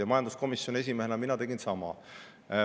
Ja majanduskomisjoni esimehena ma tegin.